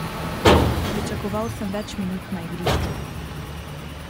Pričakoval sem več minut na igrišču.